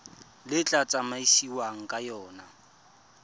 le tla tsamaisiwang ka yona